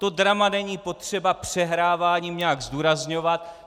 To drama není potřeba přehráváním nějak zdůrazňovat.